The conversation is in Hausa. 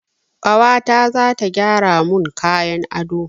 Kawata zata gyara mun kayan ado